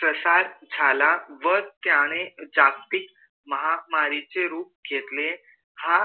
प्रसार झाला व त्याने जागतिक महामारी चे रूप घेतले हा